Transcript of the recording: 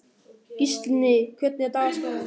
Gíslný, hvernig er dagskráin?